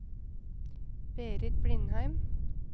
Berit Blindheim